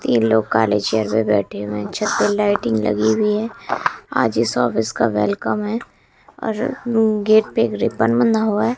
तीन लोग काले चेयर पे बैठे हुए हैं छत पर लाइटिंग लगी हुई है आज इस ऑफिस का वेलकम है और गेट पे एक रिबन बंधा हुआ है।